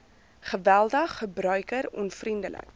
geweldig gebruiker onvriendelik